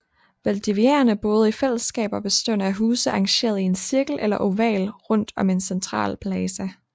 Valdiviaerne boede i fællesskaber bestående af huse arrangeret i en cirkel eller oval rundt om en central plaza